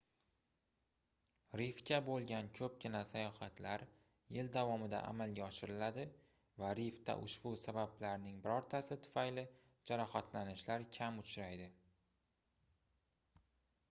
rifga boʻlgan koʻpgina sayohatlar yil davomida amalga oshiriladi va rifda ushbu sabablarning birortasi tufayli jarohatlanishlar kam uchraydi